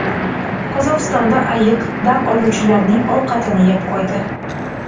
Qozog‘istonda ayiq dam oluvchilarning ovqatini yeb qo‘ydi .